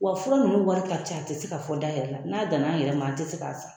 Wa fura ninnu wari ka ca a tɛ se ka fɔ da yɛrɛ la n'a danna an yɛrɛ ma an tɛ se k'a san